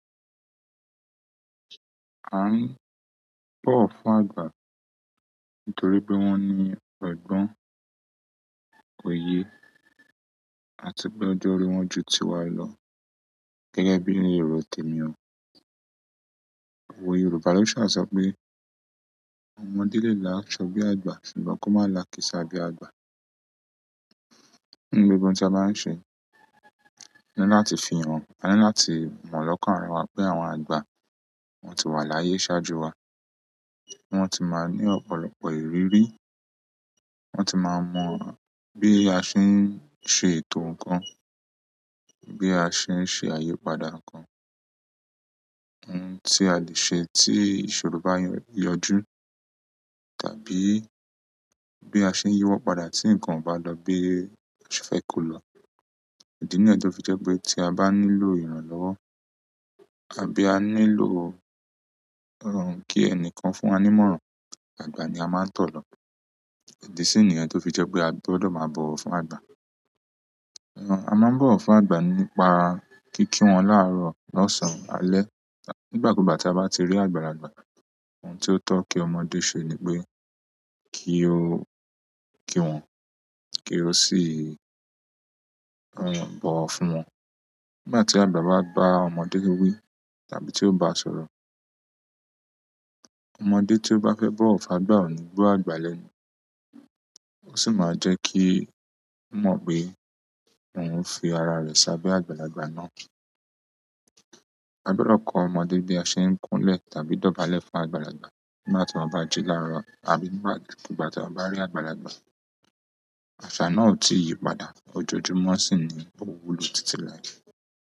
A rí pọ̀ fún àgbà nítorí pé wọ́n ní ọgbọ́n, òye àti pé ọjọ́ orí wọ́n ju ti wa lọ. Gẹ́gẹ́ bí ní èrò t'ẹ̀mí o. Òwe Yorùbá ló ṣà so pé, "Ọmọdé lè làṣọ bí àgbà, ṣùgbọ́n kó má làkísá bí àgbà." nínú gbogbo oun tí a ba ń ṣe ani láti fi hàn, àní láti mọ̀ lọ́kàn ara wa pé àwọn àgbà wọ́n ti wà láyé ṣáájú wa. Wọ́n ti máa ń ní ọ̀pọ̀lọpọ̀ ìrírí, wọ́n ti máa mọ bí a ṣe ń ṣe ètò nǹkan, bí a ṣe ń ṣe àyèpadà nǹkan, ohun tí a lè ṣe tí ìṣòro bá yọjú tàbí bí a ṣe ń yíwọ́pada tí nǹkan o bá lọ bí a se fẹ́ kò lọ. Ìdí náà tọ fi je pé tí a bá nílò ìrànlọ́wọ́ àbí a nílò kí ẹnìkan fún wa ní ìmọ̀ràn, àgbà ni a máa ń tọ̀ lọ. Ìdí sì niyen tó fi jẹ́ pé a gbọdọ̀ máa bọ̀wọ̀ fún àgbà. A máa ń bọ̀wọ̀ fún àgbà nípa kí kí wọn láàárọ̀, lọ́sàn-án alẹ́ tàbí nígbàkúùgbà tí a bá ti rí àgbàlagbà. Ohun tí ó tọ́ kí ọmọdé ṣe ni pé kí ó kí wọn, kí ó sì bọ̀wọ̀ fún wọn. Nígbà tí àgbà bá gba ọmọdé wí wí tàbí tí ó bá sọ̀rọ̀, ọmọdé tí ó bá fẹ́ bọ̀wọ̀ fún àgbà ò ní gbọ́ àgbà lẹ́nu. Ó sì máa jẹ́ kí ó mọ̀ pé òun ń fi ara rẹ̀ sábe àgbàlagbà náà. A gbọdọ̀ kọ ọmọdé bí a ṣe ń kúnlẹ̀ tàbí dọ̀bálẹ̀ fún àgbàlagbà nígbà tí wọ́n bá jí láàárọ̀ àbí nígbàkúùgbà tí wọ́n bá rí àgbàlagbà. Àṣà náà ò tí ì yípadà ojoojúmọ́ sì ni ò wúlò títí lái.